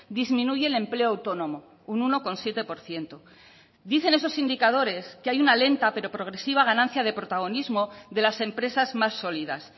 disminuye el empleo autónomo un uno coma siete por ciento dicen esos indicadores que hay una lenta pero progresiva ganancia de protagonismo de las empresas más sólidas